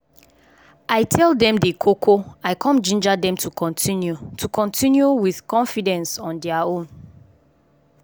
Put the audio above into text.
i tell them the koko i come ginger them to continue to continue with confidence on dia own.